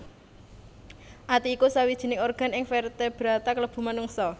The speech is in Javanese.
Ati iku sawijining organ ing vertebrata klebu menungsa